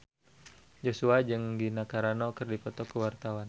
Joshua jeung Gina Carano keur dipoto ku wartawan